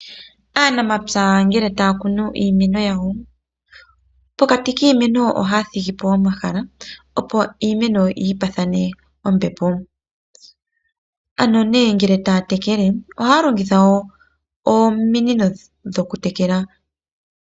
Aanafaalama ngele taya kunu iimeno yawo, pokati kiimeno yawo ohaya thigi po omahala opo iimeno yi paathane ombepo, ano ngele taya tekele iimeno ohaya longitha ominino oku tekela.